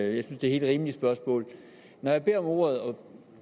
at det er helt rimelige spørgsmål når jeg beder om ordet